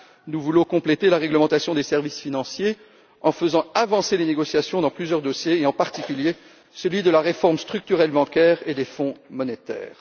Nous voulons compléter la réglementation des services financiers en faisant avancer les négociations dans plusieurs dossiers, en particulier celui de la réforme structurelle bancaire et des fonds monétaires.